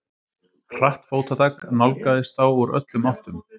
Hratt fótatak nálgaðist þá úr öllum áttum.